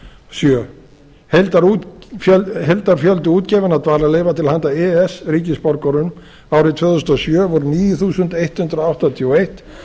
sjö heildarfjöldi útgefinna dvalarleyfa til handa e e s ríkisborgurum árið tvö þúsund og sjö voru níu þúsund hundrað áttatíu og eitt